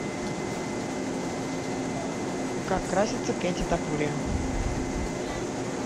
как красится кэти топурия